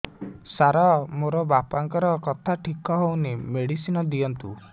ସାର ମୋର ବାପାଙ୍କର କଥା ଠିକ ହଉନି ମେଡିସିନ ଦିଅନ୍ତୁ